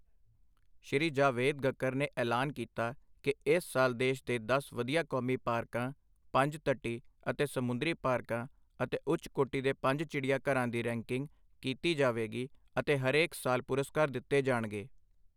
ਸ਼੍ਰੀ ਜਾਵੇਦਗਕਰ ਨੇ ਐਲਾਨ ਕੀਤਾ ਕਿ ਇਸ ਸਾਲ ਦੇਸ਼ ਦੇ ਦਸ ਵਧਿਆ ਕੌਮੀ ਪਾਰਕਾਂ, ਪੰਜ ਤੱਟੀ ਅਤੇ ਸਮੁੰਦਰੀ ਪਾਰਕਾਂ ਅਤੇ ਉੱਚ ਕੋਟੀ ਦੇ ਪੰਜ ਚਿੜੀਆਘਰਾਂ ਦੀ ਰੈਂਕਿੰਗ ਕੀਤੀ ਜਾਵੇਗੀ ਅਤੇ ਹਰੇਕ ਸਾਲ ਪੁਰਸਕਾਰ ਦਿੱਤੇ ਜਾਣਗੇ।